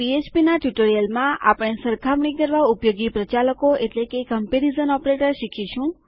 આ પીએચપીના ટ્યુટોરીયલમાં આપણે સરખામણી કરવા ઉપયોગી પ્રચાલકોકમ્પેરીઝન ઓપરેટર શીખીશું